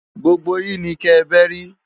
Gbógbó yin ni kè bèri